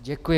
Děkuji.